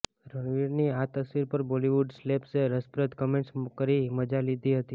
રણવીરની આ તસવીર પર બોલિવૂડ સેલેબ્સે રસપ્રદ કમેન્ટ્સ કરી મજા લીધી હતી